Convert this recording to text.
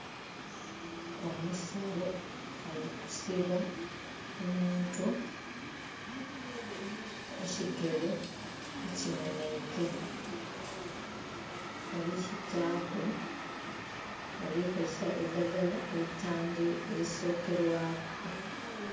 Omusawo ali kusiba omuntu ekigere ekimenheike. Bali kitaaku, bali kozesa eidhagala elisokelwaku.